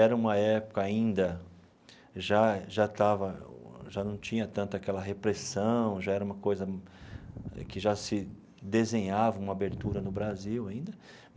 Era uma época ainda já já estava já não tinha tanta aquela repressão, já era uma coisa que já se desenhava uma abertura no Brasil ainda.